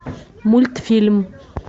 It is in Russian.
мультфильм